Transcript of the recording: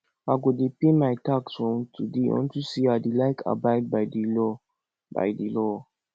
i go dey pay my tax from today unto say i dey like abide by the law by the law